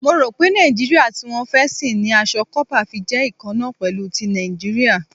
Mo rò pé Nàìjíríà tí wọ́n fẹ́ sìn ni aṣọ kópa fi jẹ́ ikanna pẹ̀lú ti Nàìjíríà.